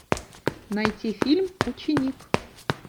найти фильм ученик